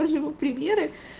показываю примеры